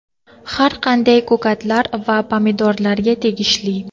har qanday ko‘katlar va pomidorlarga tegishli.